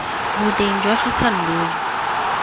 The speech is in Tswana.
boteng jwa ga thando jo